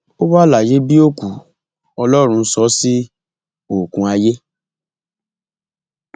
ó wà láyé bíi òkú ọlọrun sọ ọ sí oókùn ayé